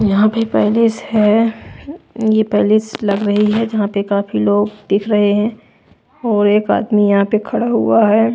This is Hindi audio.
यहाँ पे पैलेस है ये पैलेस लग रही है जहाँ पे काफी लोग दिख रहे हैं और एक आदमी यहाँ पे खड़ा हुआ है।